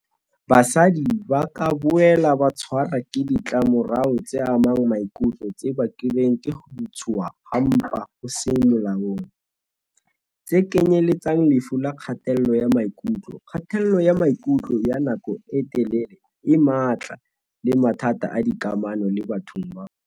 "Basadi ba ka boela ba tshwarwa ke ditlamorao tse amang maikutlo tse bakilweng ke ho ntshuwa ha mpa ho seng molaong, tse kenyeletsang lefu la kgatello ya maikutlo, kgatello ya maikutlo ya nako e telele e matla le mathata a dikamano le batho ba bang."